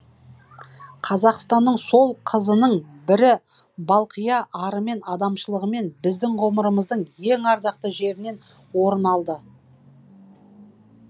қазақтың сол қызының бірі балқия арымен адамшылығымен біздің ғұмырымыздың ең ардақты жерінен орын алды